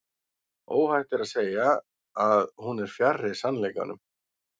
óhætt er samt að segja að hún er fjarri sannleikanum